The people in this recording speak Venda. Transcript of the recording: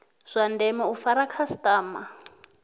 zwa ndeme u fara khasitama